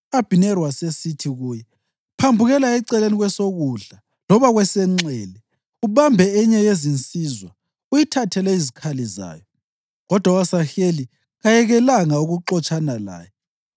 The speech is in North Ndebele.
U-Abhineri wasesithi kuye, “Phambukela eceleni kwesokudla loba kwesenxele; ubambe enye yezinsizwa uyithathele izikhali zayo.” Kodwa u-Asaheli kayekelanga ukuxotshana laye.